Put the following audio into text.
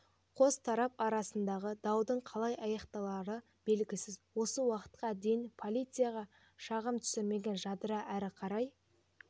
қос тарап арасындағы даудың қалай аяқталары белгісіз осы уақытқа дейін полицияға шағым түсірмеген жадыра әрі қарай